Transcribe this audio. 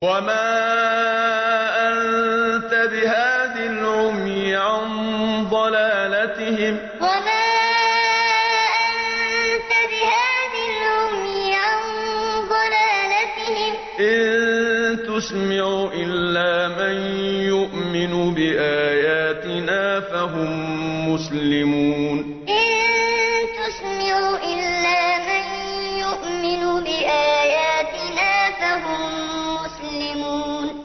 وَمَا أَنتَ بِهَادِ الْعُمْيِ عَن ضَلَالَتِهِمْ ۖ إِن تُسْمِعُ إِلَّا مَن يُؤْمِنُ بِآيَاتِنَا فَهُم مُّسْلِمُونَ وَمَا أَنتَ بِهَادِ الْعُمْيِ عَن ضَلَالَتِهِمْ ۖ إِن تُسْمِعُ إِلَّا مَن يُؤْمِنُ بِآيَاتِنَا فَهُم مُّسْلِمُونَ